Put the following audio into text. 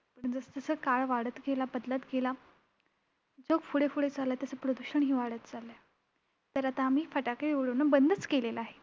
जसजसा काळ वाढत गेला, बदलत गेला जग पुढे पुढे चाललंय, तसं प्रदूषणही वाढत चाललंय. तर आता आम्ही फटाके उडविणे बंदच केलेलं आहे.